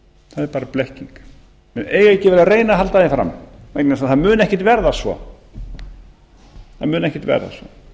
það er bara blekking menn eiga ekki að vera að reyna að halda því fram vegna þess að það mun ekkert verða